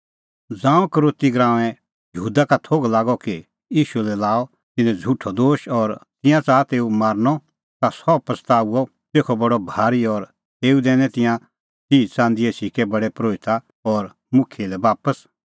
ज़ांऊं यहूदा इसकरोती का थोघ लागअ कि ईशू लै लाअ तिन्नैं झ़ुठअ दोश और तिंयां च़ाहा तेऊ मारनअ ता सह पछ़ताअ तेखअ बडअ भारी और तेऊ दैनै तिंयां तिह च़ंदीए सिक्कै प्रधान परोहिता और मुखियै लै बापस